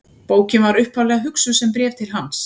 Bókin var upphaflega hugsuð sem bréf til hans.